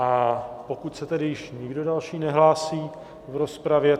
A pokud se tedy již nikdo další nehlásí v rozpravě...